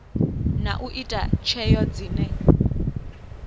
na u ita tsheo dzine